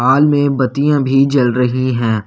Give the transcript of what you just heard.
हाल में बत्तियां भी जल रही हैं।